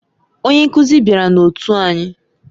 Onye nkuzi bịara na otu anyị.